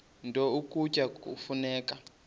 nto ukutya kufuneka